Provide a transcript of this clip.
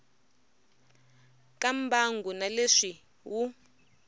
ka mbangu na leswi wu